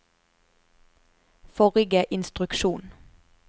forrige instruksjon